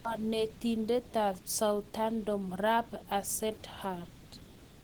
Kanetindet ab Southampton Ralph Hasenhuttl.